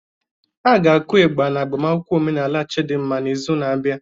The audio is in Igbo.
Aga-aku ịgbà Igba n'agbamakwụkwọ omenala Chidinma n'izu na-abịa.